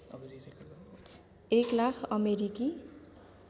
एक लाख अमेरिकी